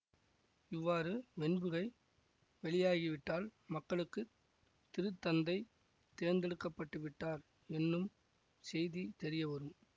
இவ்வாறு வெண்புகை வெளியாகிவிட்டால் மக்களுக்கு திருத்தந்தை தேர்ந்தெடுக்கப்பட்டுவிட்டார் என்னும் செய்தி தெரியவரும்